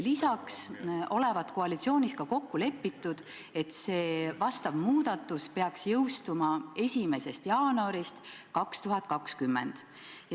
Lisaks olevat koalitsioonis kokku lepitud, et vastav muudatus peaks jõustuma 1. jaanuarist 2020.